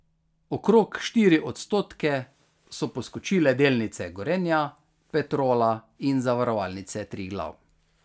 Okrog štiri odstotke so poskočile delnice Gorenja, Petrola in Zavarovalnice Triglav.